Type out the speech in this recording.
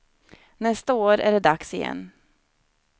Nästa år är det dags igen.